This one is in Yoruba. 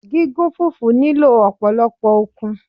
Gígún fùfú nílò ọ̀pọ̀lọ́pọ̀ okun